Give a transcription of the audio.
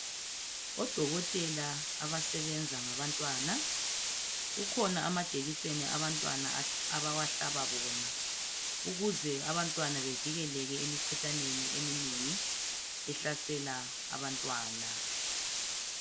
Odokotela abasebenza ngabantwana kukhona amajekiseni abantwana abawahlaba bona ukuze abantwana bevikeleke emikhuhlaneni eminengi ehlasela abantwana